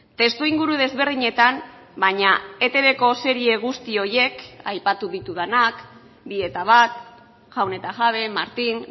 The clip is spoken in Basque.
testuinguru desberdinetan baina etbko serie guzti horiek aipatu ditudanak bi eta bat jaun eta jabe martin